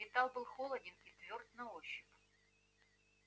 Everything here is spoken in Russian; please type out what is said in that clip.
металл был холоден и твёрд на ощупь